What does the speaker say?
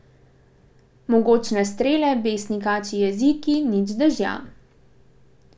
Mogočne strele, besni kačji jeziki, nič dežja.